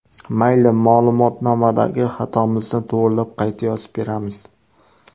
Mayli, ma’lumotnomadagi xatomizni to‘g‘rilab, qayta yozib beramiz.